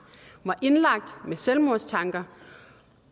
var indlagt med selvmordstanker